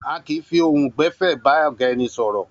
A kì í fi ohùn gbè̩fé̩ bá ò̩gá e̩ni sò̩rò̩